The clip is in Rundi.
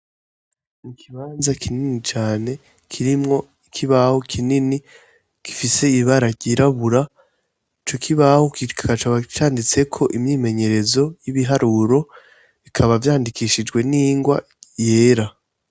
Ikibanza kinini cane kirimwo ikibaho kinini gifise ibara ryirabura. Ico kibaho kikaba canditseko imyimenyerezo y'ibiharuro, bikaba vyandikishijwe n'ingwa yera.